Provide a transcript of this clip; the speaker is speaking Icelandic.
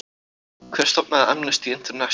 Hver stofnaði Amnesty International?